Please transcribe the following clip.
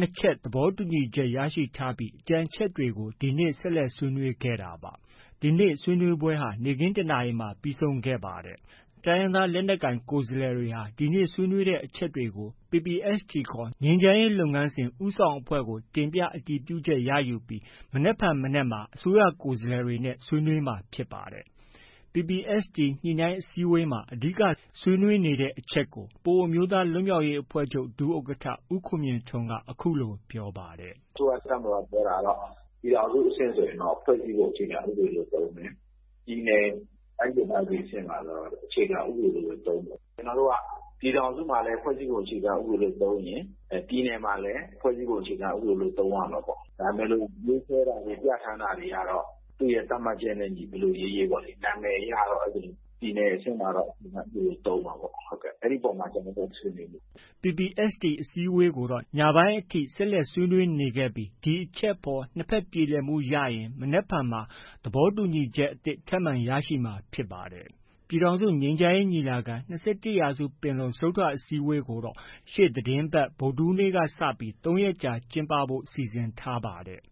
၂ ချက် သဘောတူညီချက် ရရှိထားပြီး ကျန်အချက်တွေကို ဒီနေ့ ဆက်လက် ဆွေးနွေးကြတာပါ။ ဒီနေ့ ဆွေးနွေးပွဲဟာ နေ့ခင်း ၁ နာရီမှာ ပြီးဆုံးခဲ့ပါတယ်။ တိုင်းရင်းသားလက်နက်ကိုင် ကိုယ်စားလှယ်တွေက ဒီနေ့ ဆွေးနွေးခဲ့တဲ့အချက်တွေကို PPST ခေါ် ငြိမ်းချမ်းရေးလုပ်ငန်းစဉ် ဦးဆောင်အဖွဲ့ကို တင်ပြ၊ အတည်ပြုချက် ရယူပြီး မနက်ဖြန် မနက်မှာ အစိုးရကိုယ်စားလှယ်တွေနဲ့ ဆွေးနွေးသွားမှာဖြစ်ပါတယ်။ PPST ညှိနှိုင်းအစည်းအဝေးမှာ အဓိက ဆွေးနွေးနေတဲ့ အချက်ကို ပအိုဝ်းအမျိုးသားလွှတ်မြောက်ရေး အဖွဲ့ချုပ် ဒုဥက္ကဋ္ဌ ဦးခွန်မြင့်ထွန်းက အခုလို ပြောပါတယ်။ “အစိုးရ၊ တပ်မတော်က ပြောတာက ပြည်ထောင်စုအဆင့်ဆိုရင်တော့ ဖွဲ့စည်းပုံအခြေခံ ဥပဒေလို့ သုံးတယ်။ ပြည်နယ်၊ တိုင်းဒေသကြီးအဆင့်မှာတော့ အခြေခံဥပဒေလို့ပဲ သုံးမယ်။ ကျနော်တို့က ပြည်ထောင်စုမှာလည်း ဖွဲ့စည်းပုံအခြေခံဥပဒေလို့ သုံးရင်၊ ပြည်နယ်မှာလည်း ဖွဲ့စည်းပုံအခြေခံဥပဒေလို့ သုံးရမယ်ပေါ့။ ဒါပေမဲ့ ရေးဆွဲတာတွေ၊ ပြဌာန်းတာတွေကတော့ သူ့ရဲ့ သတ်မှတ်ချက်နဲ့အညီ ဘယ်လိုရေးရေးပေါ့။ နာမည်အရတော့ ပြည်နယ်အဆင့်မှာတော့ အခြေခံဥပဒေလို့ သုံးပါပေ့ါ။ အဲဒီပေါ်မှာ ကျနော်တို့ ဆွေးနွေးနေတယ်။” PPST အစည်းအဝေးကိုတော့ ညပိုင်းအထိ ဆက်လက်ဆွေးနွေးနေခဲ့ပြီး ဒီအချက်အပေါ် နှစ်ဘက် ပြေလည်မှုရရင် မနက်ဖြန်မှာ သဘောတူညီချက် အသစ်ထပ်မံရရှိမှာဖြစ်ပါတယ်။ ပြည်ထောင်စုငြိမ်းချမ်းရေးညီလာခံ၊ ၂၁ ရာစုပင်လုံ ဆွေးနွေးပွဲကိုတော့ ရှေ့သီတင်းပတ် ဗုဒ္ဓဟူးနေ့ကစပြီး ၂ ရက်ကြာ ကျင်းပဖို့ စီစဉ်ထားပါတယ်